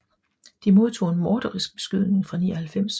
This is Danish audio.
De modtog en morderisk beskydning fra 99